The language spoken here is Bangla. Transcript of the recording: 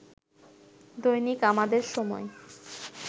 দৈনিক আমাদের সময়